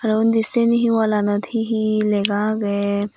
aro undi siyani he wall aanot he he lega agey.